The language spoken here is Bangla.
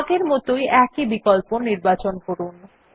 আগের মতই একই বিকল্প নির্বাচন করুন